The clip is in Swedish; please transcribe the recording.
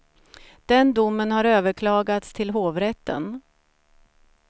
Den domen har överklagats till hovrätten.